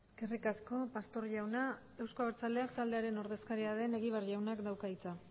eskerrik asko pastor jauna euzko abertzaleak taldearen ordezkaria den egibar jaunak dauka hitza